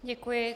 Děkuji.